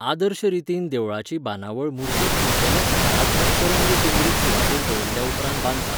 आदर्श रितीन देवळाची बांदावळ मुर्तीक उंचेल्या सकारात्मक तरंग केंद्रीत सुवातेर दवरल्या उपरांत बांदतात.